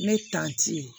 Ne ye